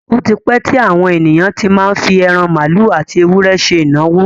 Ó ti pẹ́ tí àwọn ènìyàn tí má ń fi ẹran màálù àti ewúrẹ́ ṣe ìnáwó.